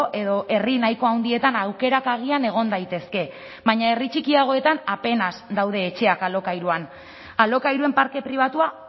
edo herri nahiko handietan aukerak agian egon daitezke baina herri txikiagoetan apenas daude etxeak alokairuan alokairuen parke pribatua